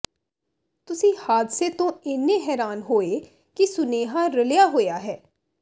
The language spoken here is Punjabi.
ਤੁਸੀਂ ਹਾਦਸੇ ਤੋਂ ਇੰਨੇ ਹੈਰਾਨ ਹੋਏ ਹੋ ਕਿ ਸੁਨੇਹਾ ਰਲਿਆ ਹੋਇਆ ਹੈ